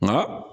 Nka